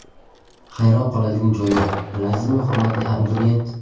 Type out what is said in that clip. Hayron qoladigan joyi yo‘q, bilasizmi, hurmatli abituriyent!